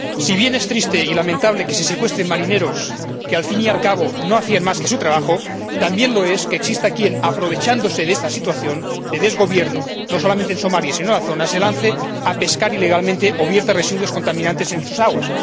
Si bien es triste y lamentable que se secuestren marineros que, al fin y al cabo, no hacían más que su trabajo, también lo es que exista quien —aprovechándose de esta situación de desgobierno no solamente en Somalia, sino en la zona— se lance a pescar ilegalmente o vierta residuos contaminantes en sus aguas.